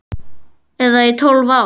Eða í tólf ár?